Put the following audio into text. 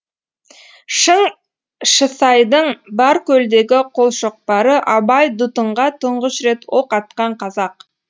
шың шысайдың баркөлдегі қолшоқпары абай дутыңға тұңғыш рет оқ атқан қазақ